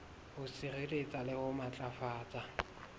ho sireletsa le ho matlafatsa